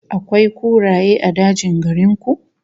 Akwai kuraye a dajin garin ku?